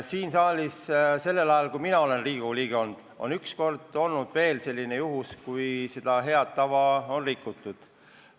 Siin saalis on sellel ajal, kui mina olen Riigikogu liige olnud, üks kord olnud veel selline juhtum, kui seda head tava on rikutud.